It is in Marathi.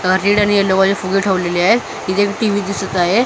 अ रेड आणि यलो मध्ये फुल ठेवलेली आहेत इथे एक टी_व्ही दिसत आहे.